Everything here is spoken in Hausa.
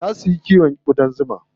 Zaa su yi kiwon ƙudan zuma.